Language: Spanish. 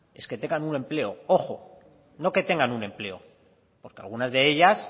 es que tengan un empleo ojo no que tengan un empleo porque algunas de ellas